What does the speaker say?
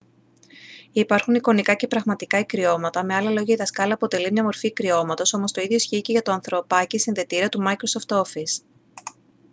υπάρχουν εικονικά και πραγματικά ικριώματα με άλλα λόγια η δασκάλα αποτελεί μια μορφή ικριώματος όμως το ίδιο ισχύει για το ανθρωπάκι-συνδετήρα του microsoft office